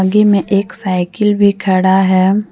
में एक साइकिल भी खड़ा है।